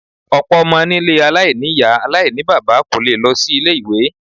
Ọ̀pọ̀ ọmọ nílé aláìní ìyá aláìníbaba kò lè lọ sí ilé-ìwé.